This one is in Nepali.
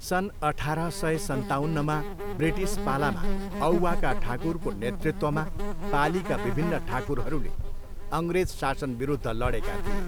सन् अठाह्र सय सन्ताउन्नमा ब्रिटिस पालामा औवाका ठाकुरको नेतृत्वमा पालीका विभिन्न ठाकुरहरूले अङ्ग्रेज शासनविरुद्ध लडेका थिए।